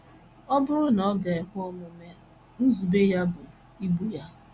Ọ bụrụ na ọ ga - ekwe omume, nzube ya bụ igbu ha.